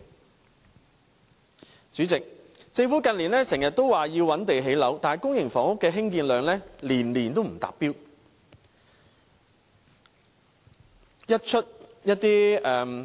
代理主席，政府近年經常說要覓地建屋，但公營房屋的興建量年年也不達標，每當一些